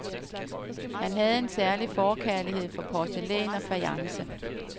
Han havde en særlig forkærlighed for porcelæn og fajance.